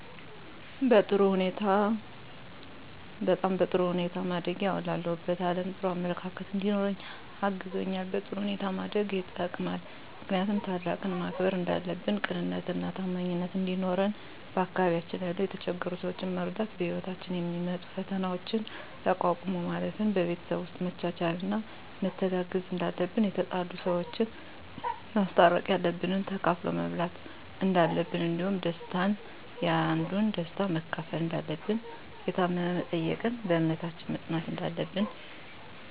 በጣም በጥሩ ሁኔታ ማደጌ አሁን ላለሁበት አለም ጥሩ አመለካከት እንዲኖረኝ አግዞኛል በጥሩ ሁኔታ ማደግ የጠቅማል ምክንያቱም ታላቅን ማክበር እንዳለብን ቅንነትና ታማኝነት እንዲኖረን በአካባቢያችን ያሉ የተቸገሩ ሰዎችን መርዳት በህይወታችን የሚመጡ ፈተናዎችን ተቋቁሞ ማለፍ ን በቤተሰብ ውስጥ መቻቻልና መተጋገዝ እንዳለብን የተጣሉ ሰዎችን ማስታረቅ ያለንን ተካፍሎ መብላት እንዳለብን እንዲሁም ደስታን ያንዱን ደስታ መካፈል እንዳለብን የታመመ መጠየቅን በእምነታችን መፅናት እንዳለብን